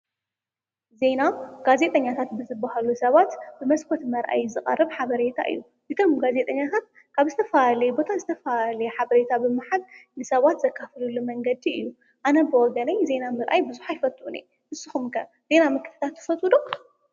ዜና ኣውታር ማለት ሓደሽቲ ዘይተሰሙዑ ሓበሬታት ኮይኖም ንማሕበረሰብ ዓለም እነጋወሐሉ እዩ።